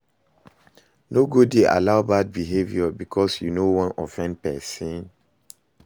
No go dey allow bad behavior bikos yu no wan offend pesin